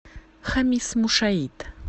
хамис мушаит